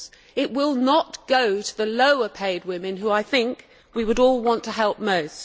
It will not go to the lower paid women whom, I think, we would all want to help the most.